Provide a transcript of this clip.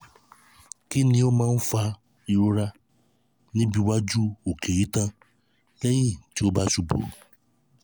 kí ló máa ń fa ìrora níbi waju oke itan lẹ́yìn um tí o ba ṣubú?